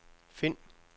find